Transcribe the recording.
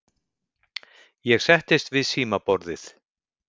Ég settist við símaborðið.